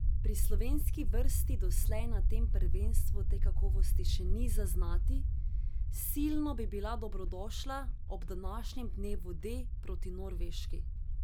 Pri slovenski vrsti doslej na tem prvenstvu te kakovosti še ni zaznati, silno bi bila dobrodošla ob današnjem dnevu D proti Norveški.